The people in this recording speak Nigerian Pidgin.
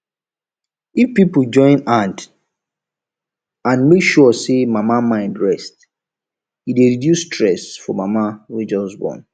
if people join hand and make sure say mama mind rest e dey reduce stress for mama wey just born